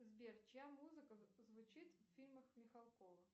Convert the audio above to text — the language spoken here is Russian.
сбер чья музыка звучит в фильмах михалкова